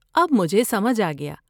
اب مجھے سمجھ آ گیا۔